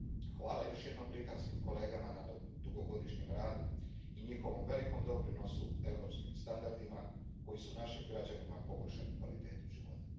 Hvala još jednom britanskim kolegama na dugogodišnjem radu i njihovom velikom doprinosu europskim standardima koji su našim građanima poboljšali kvalitetu života.